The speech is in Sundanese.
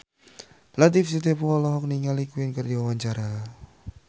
Latief Sitepu olohok ningali Queen keur diwawancara